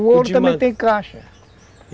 O ouro também tem caixa.